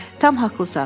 Tam haqlısan.